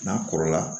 N'a kɔrɔla